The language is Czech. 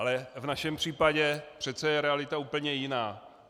Ale v našem případě je přece realita úplně jiná.